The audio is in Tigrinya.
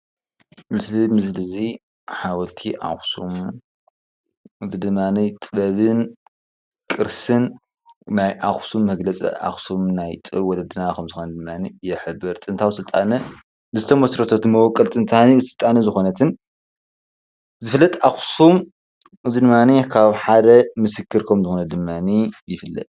እዚ ምስል እዚ ሓወልቲ ኣክሱም ብድማኔ ጥበብን ቅርስን ናይ ኣክሱም ይግለፅ። ኣክሱም ናይ ጥበብ ወለድና ከም ዝኾነት ይሕብር። ጥንታዊ ስልጣነ ዝትመስረተትሉ መወቀል ጥንታዊ ስልጣን ዝኮነትን ዝፍለጥ ኣክሱም እዚ ካብ ሓደ ምስክር ከም ዝኮነ ድማኔ ይፍለጥ።